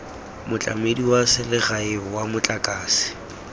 motlamedi wa selegae wa motlakase